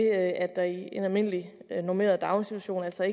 at der i en almindeligt normeret daginstitution altså